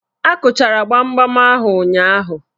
Akụchara gbamgbam ahụ ụnyaahụ?